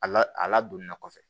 A la a ladonni na kɔfɛ